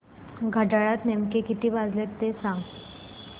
घड्याळात नेमके किती वाजले ते सांग